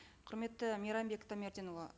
құрметті мейрамбек таймерденұлы